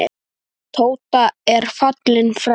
Tóta er fallin frá.